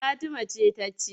Fatima ce ta ci.